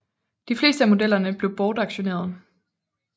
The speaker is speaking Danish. De fleste af modellerne blev bortauktioneret